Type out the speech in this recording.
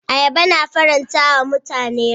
Ayaba tana faranta wa mutane rai.